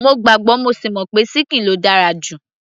mo gbàgbọ́ mo sì mọ̀ pé ṣíkìn ló dára jù